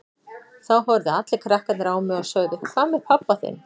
Þá horfðu allir krakkarnir á mig og sögðu Hvað með pabba þinn?